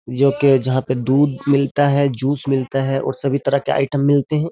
जोकी जहां पर दूध मिलता है जूस मिलता है और सभी तरह के आइटम मिलते हैं।